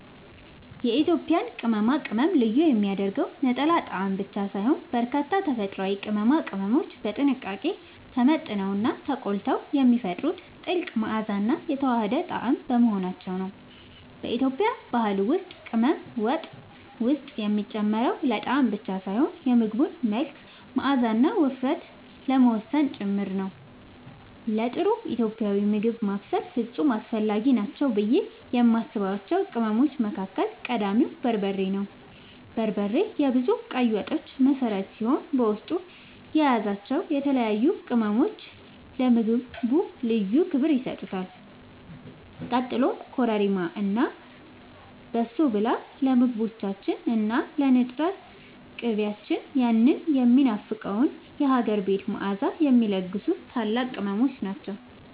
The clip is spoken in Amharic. የኢትዮጵያን ቅመማ ቅመም ልዩ የሚያደርገው ነጠላ ጣዕም ብቻ ሳይሆን፣ በርካታ ተፈጥሯዊ ቅመሞች በጥንቃቄ ተመጥነውና ተቆልተው የሚፈጥሩት ጥልቅ መዓዛና የተዋሃደ ጣዕም በመሆናቸው ነው። በኢትዮጵያ ባህል ውስጥ ቅመም ወጥ ውስጥ የሚጨመረው ለጣዕም ብቻ ሳይሆን የምግቡን መልክ፣ መዓዛና ውፍረት ለመወሰን ጭምር ነው። ለጥሩ ኢትዮጵያዊ ምግብ ማብሰል ፍጹም አስፈላጊ ናቸው ብዬ የማስባቸው ቅመሞች መካከል ቀዳሚው በርበሬ ነው። በርበሬ የብዙ ቀይ ወጦች መሠረት ሲሆን፣ በውስጡ የያዛቸው የተለያዩ ቅመሞች ለምግቡ ልዩ ክብር ይሰጡታል። ቀጥሎም ኮረሪማ እና በሶብላ ለምግቦቻችን እና ለንጥር ቅቤያችን ያንን የሚናፈቀውን የሀገር ቤት መዓዛ የሚለግሱ ታላላቅ ቅመሞች ናቸው።